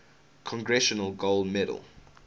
congressional gold medal